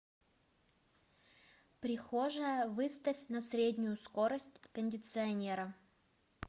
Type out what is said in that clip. прихожая выставь на среднюю скорость кондиционера